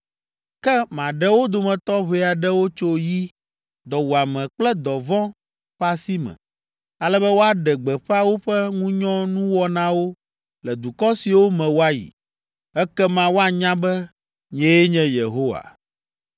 Ke maɖe wo dometɔ ʋɛ aɖewo tso yi, dɔwuame kple dɔvɔ̃ ƒe asi me, ale be woaɖe gbeƒã woƒe ŋunyɔnuwɔnawo le dukɔ siwo me woayi. Ekema woanya be, nyee nye Yehowa.”